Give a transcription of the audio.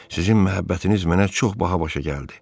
Sizin məhəbbətiniz mənə çox baha başa gəldi.